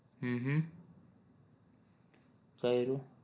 હમ હ કર્યું